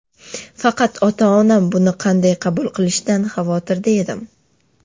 Faqat ota-onam buni qanday qabul qilishidan xavotirda edim.